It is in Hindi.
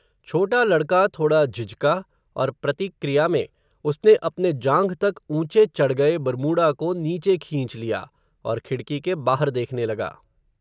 छोटा लड़का थोड़ा झिझका, और प्रति क्रिया में, उसने अपने जांघ तक ऊंचे चढ़ गये बरमूडा को नीचे खींच लिया, और खिड़की के बाहर देखने लगा